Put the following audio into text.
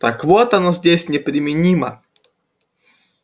так вот оно здесь неприменимо